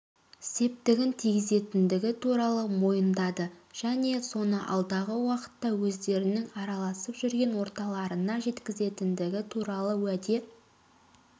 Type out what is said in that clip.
септігін тигізгендігі туралы мойындады және соны алдағы уақытта өздерінің араласып жүрген орталарына жеткізетіндігі туралы уәде